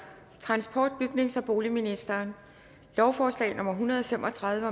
transport bygnings og boligministeren lovforslag nummer hundrede og fem og tredive